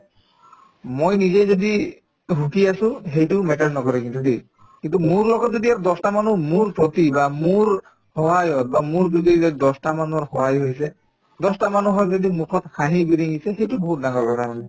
মই নিজে যদি সুখী আছো সেইটো matter নকৰে কিন্তু দেই কিন্তু মোৰ লগত যদি আৰু দহটামানো মোৰ প্ৰতি বা মোৰ সহায় হল বা মোৰ জৰিয়তে দহটামানৰ সহায় হৈছে দহটা মানুহৰ যদি মুখত হাঁহি বিৰিঙিছে সেইটো বহুত ডাঙৰ কথা মানে